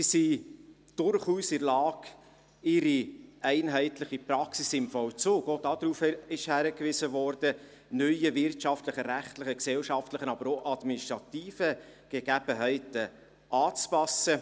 Sie sind durchaus in der Lage, ihre einheitliche Praxis im Vollzug neuen wirtschaftlichen, rechtlichen, gesellschaftlichen, aber auch administrativen Gegebenheiten anzupassen.